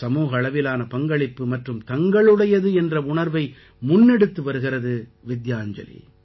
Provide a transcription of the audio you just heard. சமூக அளவிலான பங்களிப்பு மற்றும் தங்களுடையது என்ற உணர்வை முன்னெடுத்து வருகிறது வித்யாஞ்சலி